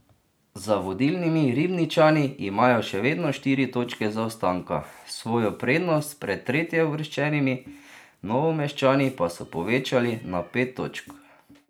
Za vodilnimi Ribničani imajo še vedno štiri točke zaostanka, svojo prednost pred tretjeuvrščenimi Novomeščani pa so povečali na pet točk.